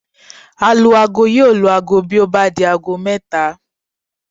Alu-aago yóò lu aago bí ó bá di aago mẹ́ta